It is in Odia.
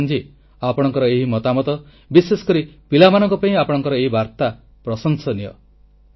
କିରଣଜୀ ଆପଣଙ୍କର ଏହି ମତାମତ ବିଶେଷ କରି ପିଲାମାନଙ୍କ ପାଇଁ ଆପଣଙ୍କର ଏହି ବାର୍ତ୍ତା ପ୍ରଶଂସନୀୟ